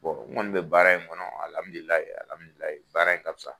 n kɔni bɛ baara in kɔnɔ baara in ka fisa.